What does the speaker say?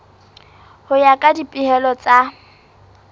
ho ya ka dipehelo tsa